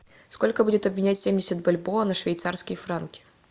сколько будет обменять семьдесят бальбоа на швейцарские франки